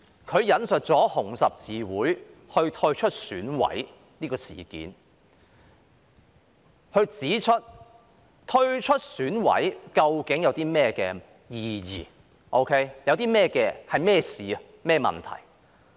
他引述香港紅十字會退出選舉委員會的事件，指出退出選委會究竟有何意義或是甚麼一回事。